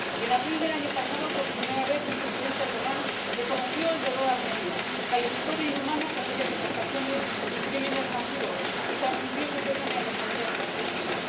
En abril del año pasado, por primera vez el Presidente Erdoğan reconoció el dolor armenio, calificó de inhumanas aquellas deportaciones y crímenes masivos y transmitió su pésame a las familias de las víctimas.